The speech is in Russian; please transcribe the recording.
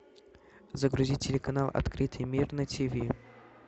загрузи телеканал открытый мир на ти ви